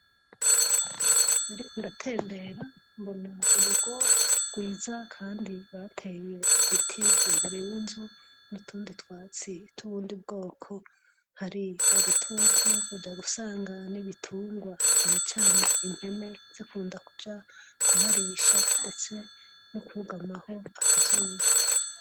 Nariko ndatembera mbona urugo rwiza kandi bateye ibiti imbere y'inzu n'utundi twatsi tw'ubundi bwoko. Hari agatutu uja gusanga n'ibitungwa cane cane impene zikunda kuja kuharisha ndetse no kugamaho akazuba.